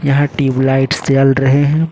यहां ट्यूबलाइट्स जल रहे हैं।